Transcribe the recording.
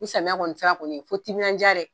Ni samiya kɔni sera kɔni fo timinaja dɛ